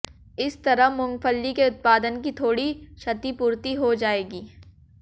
इस तरह मूंगफली के उत्पादन की थोड़ी क्षतिपूर्ति हो जाएगी